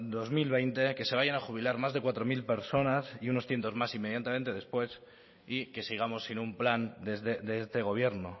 dos mil veinte que se vayan a jubilar más de cuatro mil personas y unos cientos más inmediatamente después y que sigamos sin un plan de este gobierno